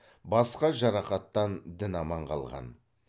басқа жарақаттан дін аман қалған